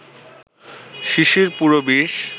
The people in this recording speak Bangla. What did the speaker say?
শিশির পুরো বিষ